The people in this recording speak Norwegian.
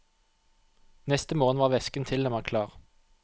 Neste morgen var væsken tilnærmet klar.